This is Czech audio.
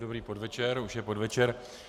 Dobrý podvečer - už je podvečer.